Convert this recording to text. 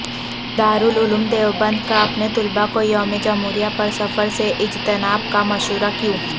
دارالعلوم دیوبند کا اپنے طلبہ کو یوم جمہوریہ پر سفر سے اجتناب کا مشورہ کیوں